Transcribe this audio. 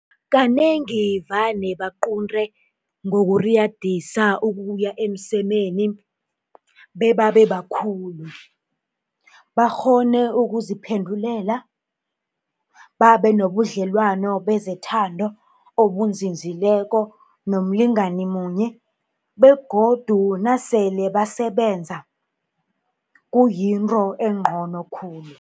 Kanengi vane baqunte ngokuriyadisa ukuya emsemeni bebabe bakhulu, bakghone ukuziphendulela, babe nobudlelwano bezethando obunzinzileko nomlingani munye begodu nasele basebenza, kuyinto engcono khulu.